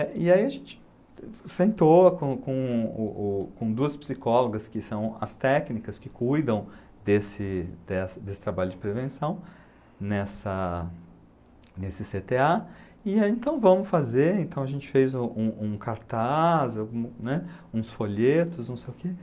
E aí a gente sentou com com o o com duas psicólogas, que são as técnicas que cuidam desse dessa desse trabalho de prevenção, nessa nesse cê tê á, e aí então vamos fazer, então a gente fez um um cartaz, né, uns folhetos, não sei o que,